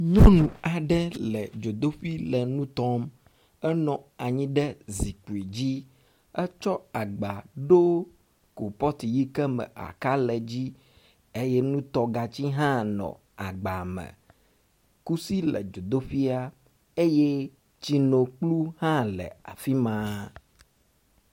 Nyɔnu aɖe le dzodoƒui le nu tɔm. Enɔ anyi ɖe zikpui dzi, etsɔ agba ɖo kɔpɔti yi ke ,me aka le dzi eye nutɔgatsi hã nɔ agba me, kusi le dzodoƒuia eye tsinokplu hã le afi ma.